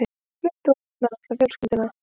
Flutti út með alla fjölskylduna.